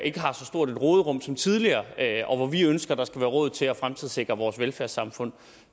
ikke har så stort et råderum som tidligere og hvor vi ønsker at der skal være råd til at fremtidssikre vores velfærdssamfund